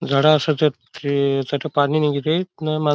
झाड़ असतत तथ पानी नई गिरि मा --